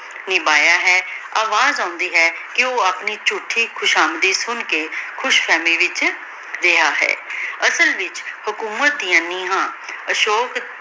ਨਿਭਾਯਾ ਹੈ ਅਵਾਜ਼ ਆਉਂਦੀ ਹੈ ਕੇ ਊ ਆਪਣੀ ਚਉਥੀ ਖੁਸ਼ਾਮਦੀ ਸੁਨ ਕੇ ਖੁਸ਼ ਫ਼ਹੀ ਵਿਚ ਰਿਹਾ ਹੈ ਅਸਲ ਵਿਚ ਹਕੂਮਤ ਡਿਯਨ ਨੇਹਾਂ ਅਸ਼ੂਕ